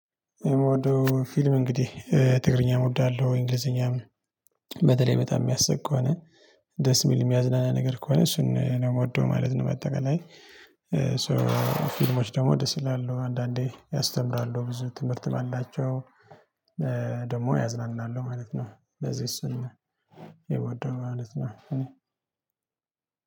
የምወደው ፊልም እንግዲህ ትግርኛም እወዳለሁ እንግሊዝኛም በተለይ በጣም ሚያስቅ ከሆነ ደስ የሚል የሚያዝናና ነገር ከሆነ እሱን ነው ምወደው ማለት ነው ባጠቃላይ ሶ ፊልሞች ደግሞ ደስ ይላሉ አንዳንዴ ያስተምራሉ ብዙ ትምህርት ባላቸው ደግሞ ያዝናናሉ ማለት ነው። ስለዚህ እሱን ነው የምወደው ማለት ነው እኔ